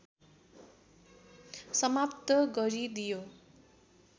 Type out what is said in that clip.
समाप्त गरिदियो